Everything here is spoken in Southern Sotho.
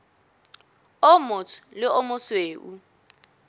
o motsho le o mosweu